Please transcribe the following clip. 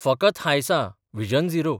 फकत हांयसां vision zero.